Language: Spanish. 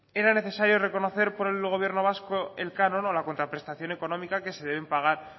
era necesario reconocer por el gobierno vasco el canon o la contraprestación económica que se deben pagar